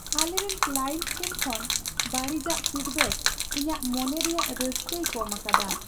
ᱟᱞᱮᱨᱮᱱ ᱠᱞᱟᱭᱮᱱᱴ ᱴᱷᱮᱱ ᱠᱷᱚᱱ ᱵᱟᱹᱲᱤᱡᱟᱜ ᱯᱷᱤᱰᱵᱮᱠ ᱤᱧᱟᱹᱜ ᱢᱚᱱᱮ ᱨᱮᱭᱟᱜ ᱨᱟᱹᱥᱠᱟᱹᱭ ᱠᱚᱢ ᱟᱠᱟᱫᱟ ᱾